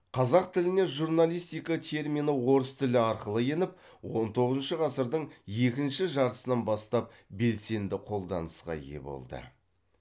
қазақ тіліне журналистика термині орыс тілі арқылы еніп он тоғызыншы ғасырдың екінші жартысынан бастап белсенді қолданысқа ие болды